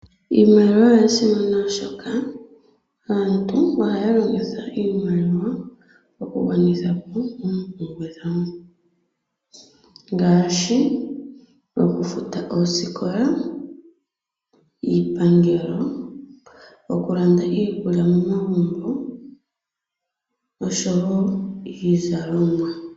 Iiimaliwa oyasimana oshoka aantu ohaya longitha iimaliwa okugwanithapo oompumbwe dhawo ngaashi okufuta oosikola , iipangelo, okulanda iikulya momagumbo noshowo iizalomwa.